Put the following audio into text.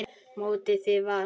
Mottóið þitt var: Gerum þetta!